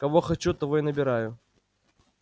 кого хочу того и набираю